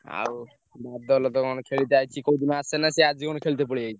ଆଉ ବଦଳ ତ କଣ ଖେଳୁଛି ଆଜି କୋଉଦିନ ଆସେନା ଆଜିକଣ ଖେଳତେ ପଳେଇ ଆସିଛି।